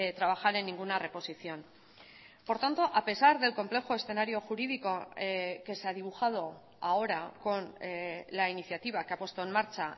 trabajar en ninguna reposición por tanto a pesar del complejo escenario jurídico que se ha dibujado ahora con la iniciativa que ha puesto en marcha